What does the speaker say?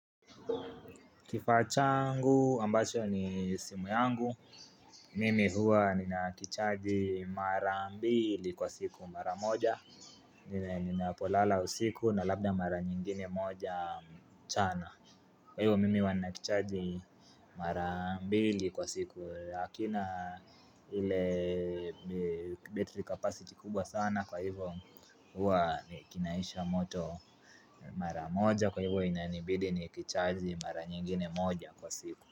Kifaa changu ambacho ni simu yangu Mimi huwa ninakichaji mara mbili kwa siku mara moja Ninapolala usiku na labda mara nyingine moja mchana Kwa hivyo mimi huwa nakicharji mara mbili kwa siku Lakina hile battery capacity kubwa sana Kwa hivyo huwa nikinaisha moto mara moja Kwa hivyo inanibidi ni kichaji mara nyingine moja kwa siku.